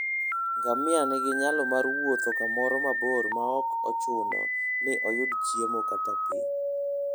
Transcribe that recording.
Ngamia nigi nyalo mar wuotho kamoro mabor maok ochuno ni oyud chiemo kata pi.